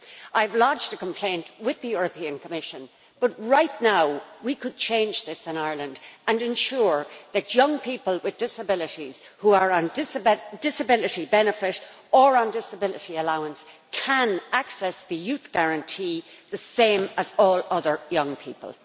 I have lodged a complaint with the European Commission, but right now we could change this in Ireland and ensure that young people with disabilities who are on disability benefit or on disability allowance can access the Youth Guarantee the same as all other young people.